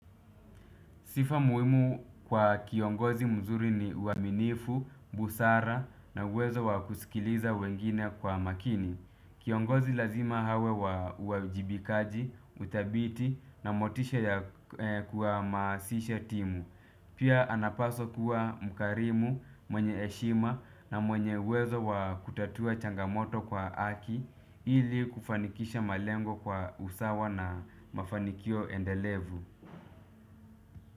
Sifa muhimu kwa kiongozi mzuri ni uaminifu, busara na uwezo wa kusikiliza wengine kwa makini. Kiongozi lazima awe wa uajibikaji, uthabiti na motisha ya kuhamasisha timu. Pia anapaswa kuwa mkarimu, mwenye heshima na mwenye uwezo wa kutatua changamoto kwa haki ili kufanikisha malengo kwa usawa na mafanikio endelevu.